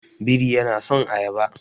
Biri yana son ayaba.